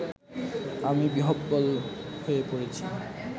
আমি বিহ্বল হয়ে পড়েছি